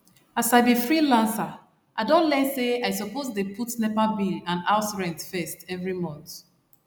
as i be freelancer i don learn say i suppose dey put nepa bill and house rent first every month